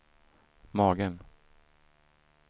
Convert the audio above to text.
magen